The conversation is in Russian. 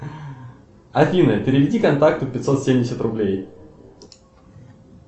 афина переведи контакту пятьсот семьдесят рублей